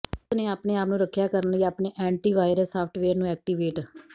ਉਸ ਨੇ ਆਪਣੇ ਆਪ ਨੂੰ ਰੱਖਿਆ ਕਰਨ ਲਈ ਆਪਣੇ ਐਨਟਿਵ਼ਾਇਰਅਸ ਸਾਫਟਵੇਅਰ ਨੂੰ ਐਕਟੀਵੇਟ